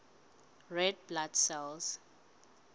red blood cells